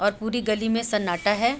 और पूरी गली में सन्नाटा है।